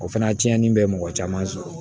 O fana tiɲɛni bɛ mɔgɔ caman sɔrɔ